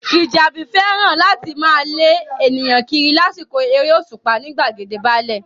Fìjàbí fẹ́ràn láti máa lé ènìyàn kiri lásìkò eré òṣùpá ní gbàgede báálẹ̀